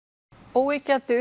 óyggjandi